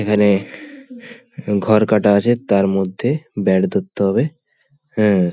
এখানে ঘর কাটা আছে তার মধ্যে ব্যাট ধরতে হবে হ্যা।